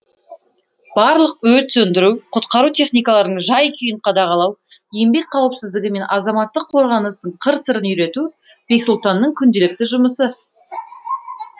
барлық өрт сөндіру құтқару техникаларының жай күйін қадағалау еңбек қауіпсіздігі мен азаматтық қорғаныстың қыр сырын үйрету бексұлтанның күнделікті жұмысы